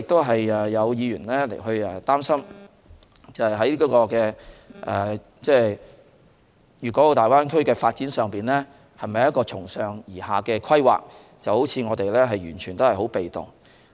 此外，有議員擔心粵港澳大灣區的發展是否一個從上而下的規劃？是否我們完全被動？